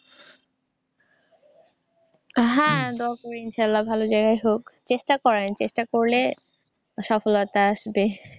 হ্যাঁ তখন ইনশাল্লাহ ভালো জায়গায় হোক। চেষ্টা করেন। চেষ্টা করলে সফলতা আসবে।